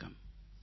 வணக்கம்